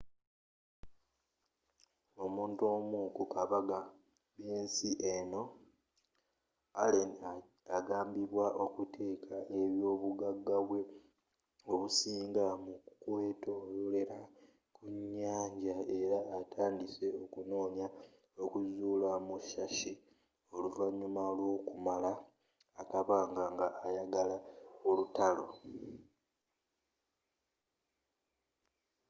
omuntu omu kubagaga b'ensi eno allen agambibwa okuteeka ebyobugagabwe obusinga mu kwetololera kunyanja era atandise okunoonya okuzuula musashi oluvanyuma lw'okumala akabanga nga ayagala olutalo